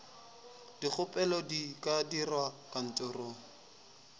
dikgopelo di ka dirwa kantorong